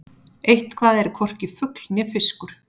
Eitthvað er hvorki fugl né fiskur